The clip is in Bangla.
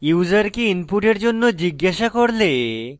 ইউসারকে input জন্য জিজ্ঞাসা করলে